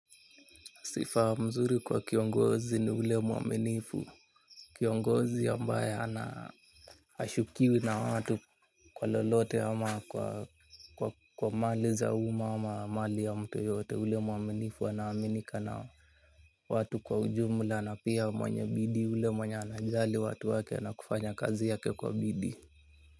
Sifa mzuri kwa kiongozi ni ule muaminifu, kiongozi ambaye ana hashukiwi na watu kwa lolote ama kwa mali za umma ama mali ya mtu yoyote, ule muaminifu anaaminika na watu kwa ujumla na pia mwenye bidii, ule mwenye anajali watu wake na kufanya kazi yake kwa bidi.